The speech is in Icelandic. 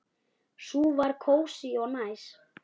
Sú var kósí og næs.